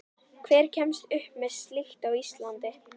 Hver kemst upp með slíkt á Íslandi?